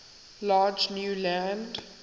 large new land